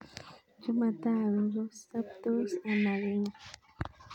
Chemotogu kosabtos amakinya